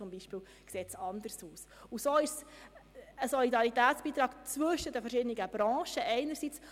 Somit handelt es sich einerseits um einen Solidaritätsbeitrag zwischen den verschiedenen Branchen.